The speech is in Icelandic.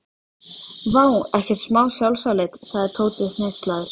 Vá, ekkert smá sjálfsálit sagði Tóti hneykslaður.